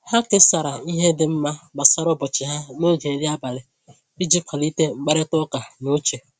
Ha kesara ihe dị mma gbasara ụbọchị ha n’oge nri abalị iji kwalite mkparịta ụka n’uche.